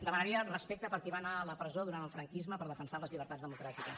demanaria respecte per qui va anar a la presó durant el franquisme per defensar les llibertats democràtiques